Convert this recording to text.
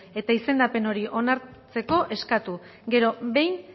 eta izendapen hori onartzeko eskatu gero behin